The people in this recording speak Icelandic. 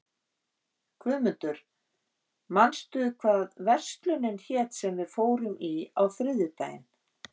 Guðmundur, manstu hvað verslunin hét sem við fórum í á þriðjudaginn?